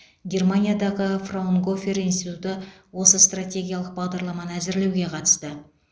германиядағы фраунгофер институты осы стратегиялық бағдарламаны әзірлеуге қатысты